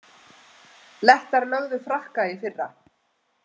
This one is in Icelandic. Lettar lögðu Frakka í fyrra